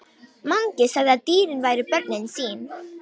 Mangi sagði að dýrin væru börnin sín.